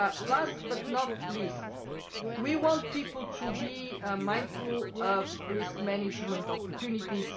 Last but not least, we want people to be mindful of risk management opportunities.